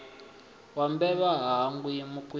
wa mbevha ha hangwi mukwita